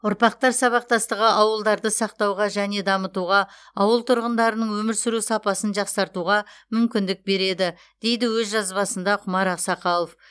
ұрпақтар сабақтастығы ауылдарды сақтауға және дамытуға ауыл тұрғындарының өмір сүру сапасын жақсартуға мүмкіндік береді дейді өз жазбасында құмар ақсақалов